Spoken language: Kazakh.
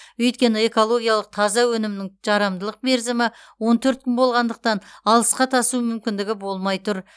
өйткені экологиялық таза өнімнің жарамдылық мерзімі он төрт күн болғандықтан алысқа тасу мүмкіндігі болмай тұр